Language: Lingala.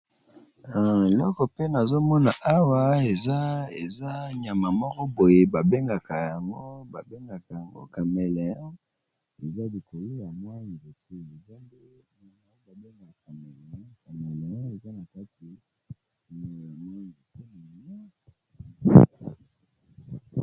Eloko pe nazomona awa eza nyama moko boye ,babengaka yango cameleon eza likolo ya nzete evandi na likasa .